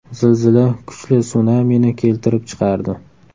Zilzila kuchli sunamini keltirib chiqardi.